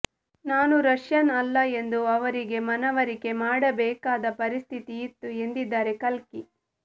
ನಾನು ರಷ್ಯನ್ ಅಲ್ಲ ಎಂದು ಅವರಿಗೆ ಮನವರಿಕೆ ಮಾಡಬೇಕಾದ ಪರಿಸ್ಥಿತಿ ಇತ್ತು ಎಂದಿದ್ದಾರೆ ಕಲ್ಕಿ